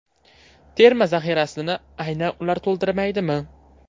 Terma zaxirasini aynan ular to‘ldirilmaydimi?